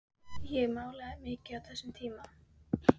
Ég málaði líka mikið á þessum tíma.